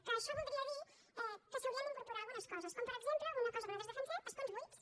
que això voldria dir que s’hi haurien d’incorporar algunes coses com per exemple una cosa que nosaltres defensem escons buits